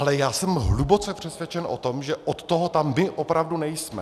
Ale já jsem hluboce přesvědčen o tom, že od toho tam my opravdu nejsme.